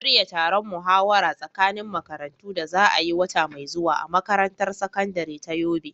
Shirya taron muhawara tsakanin makarantu da za a yi wata mai zuwa a makarantar sakandare ta Yobe.